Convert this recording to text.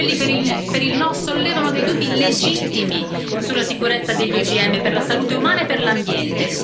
Quelli per il no sollevano dei dubbi legittimi sulla sicurezza degli OGM per la salute umana e per l'ambiente.